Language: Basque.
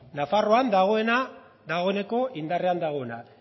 nafarroan dagoeneko indarrean dagoena